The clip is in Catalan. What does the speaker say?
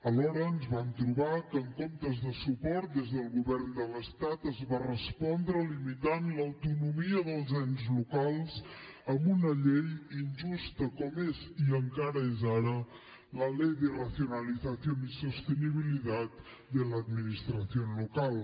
alhora ens vam trobar que en comptes de suport des del govern de l’estat es va respondre limitant l’autonomia dels ens locals amb una llei injusta com és i encara ho és ara la ley de racionalización y sostenibilidad de la administración local